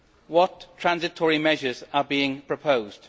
What transitional measures are being proposed?